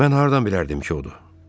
Mən hardan bilərdim ki, odur?